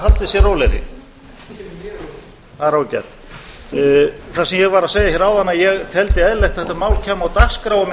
haldið sér rólegri það er ágætt það sem ég var að segja hér áðan að ég teldi eðlilegt að þetta mál kæmi á dagskrá